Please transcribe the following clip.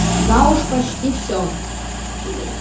да уже почти всё